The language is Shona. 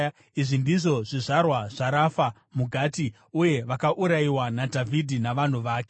Izvi ndizvo zvizvarwa zvaRafa muGati, uye vakaurayiwa naDhavhidhi navanhu vake.